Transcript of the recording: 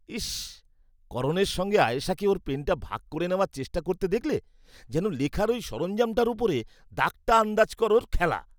ইস্স্! করণের সঙ্গে আয়েশাকে ওর পেনটা ভাগ করে নেওয়ার চেষ্টা করতে দেখলে? যেন লেখার ওই সরঞ্জামটার ওপরে 'দাগটা আন্দাজ করো'র খেলা!